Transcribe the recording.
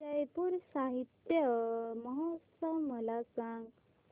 जयपुर साहित्य महोत्सव मला सांग